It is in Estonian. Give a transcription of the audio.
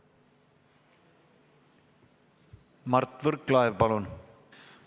Mart Võrklaev, palun!